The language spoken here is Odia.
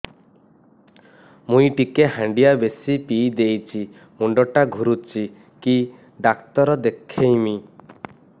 ମୁଇ ଟିକେ ହାଣ୍ଡିଆ ବେଶି ପିଇ ଦେଇଛି ମୁଣ୍ଡ ଟା ଘୁରୁଚି କି ଡାକ୍ତର ଦେଖେଇମି